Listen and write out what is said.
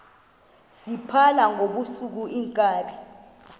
phala ngobusuku iinkabi